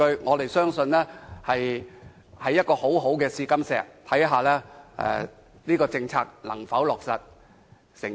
我們相信會是一塊很好的試金石，看看這項政策能否成功。